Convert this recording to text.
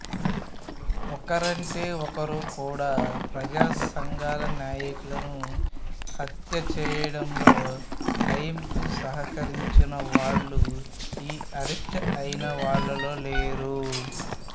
ఒక్కరంటే ఒక్కరు కూడా ప్రజాసంఘాల నాయకులను హత్య చేయడంలో నయీంకు సహకరించిన వాళ్లు ఈ అరెస్టయిన వాళ్లలో లేరు